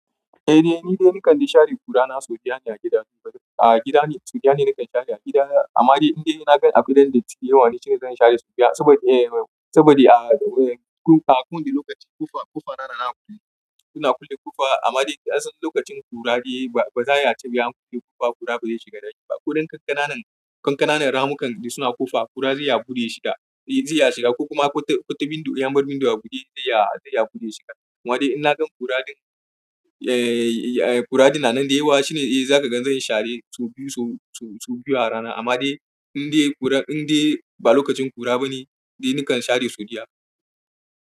Eh, ni dai nikan share ƙura na sau biyar ne a gida. A gida ne sau biyar ne nakan share a gida. Amma dai inda na gan abin da ya yi yawa shine zan share sau biyar saboda, eh, saboda a, a kullum da lokaci ƙofa, ƙofa rana rana suna kulle ƙofa. Amma dai idan sun lokacin ƙura dai ba, ba za'a ce ba an kulle ƙofa ƙura ba zai shiga da shi ba. Ko dai kankananan, kankananan ramukan suna ƙofa ƙura zai iya buɗe shiga. Eh, zai iya shiga ko kuma kwata, kwata window, ya bar window a buɗe zai iya, zai iya buɗe shiga. Amma dai in na gan ƙura ɗin, eh, eh, ƙura ɗin na nan da yawa shine eh za ka gan zan share sau biyu, sau, sau biyu a rana. Amma dai inda ƙura, inda ba lokacin ƙura ba ne dai nikan share sau biyar.